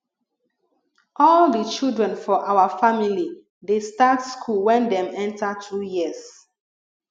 all di children for our family dey start school wen dem enter 2 years